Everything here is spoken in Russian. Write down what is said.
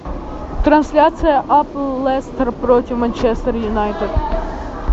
трансляция апл лестер против манчестер юнайтед